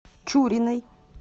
чуриной